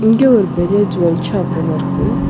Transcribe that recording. இங்க ஒரு பெரிய ஜுவல் ஷாப் ஒன்னு இருக்கு.